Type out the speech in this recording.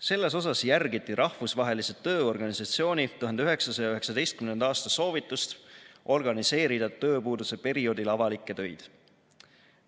Selles osas järgiti Rahvusvahelise Tööorganisatsiooni 1919. aasta soovitust organiseerida tööpuuduse perioodil avalikke töid.